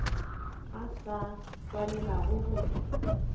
a sa swanelago go hlwa